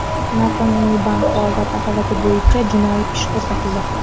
Noqonuniy bank faoliyati holati bo‘yicha jinoiy ish qo‘zg‘atildi.